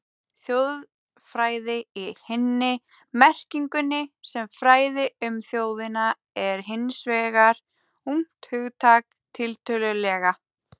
Þjóðfræði í hinni merkingunni, sem fræði um þjóðina, er hins vegar ungt hugtak, tiltölulega.